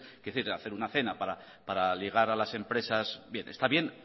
hacer una cena para ligar a las empresas está bien